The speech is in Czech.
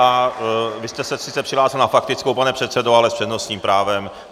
A vy jste se sice přihlásil na faktickou, pane předsedo, ale s přednostním právem.